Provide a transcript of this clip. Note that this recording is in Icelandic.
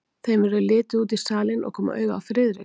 Þeim verður litið út í salinn og koma auga á Friðrik.